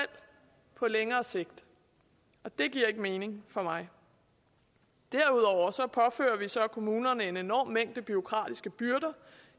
på længere sigt og det giver ikke mening for mig derudover påfører vi så kommunerne en enorm mængde bureaukratiske byrder